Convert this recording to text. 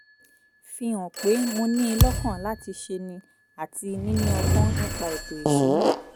fi hàn pé mo ní in lọ́kàn láti ṣé ní àti níní ọgbón nípa ètò ìṣúnná